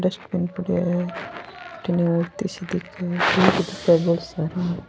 dustbin पड़ेयो है --